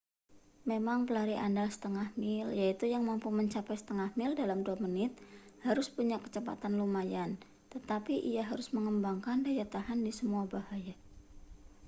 memang pelari andal setengah mil yaitu yang mampu mencapai setengah mil dalam dua menit harus punya kecepatan lumayan tetapi ia harus mengembangkan daya tahan di semua bahaya